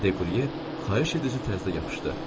Dequrye xahiş edici tərzdə yapışdı.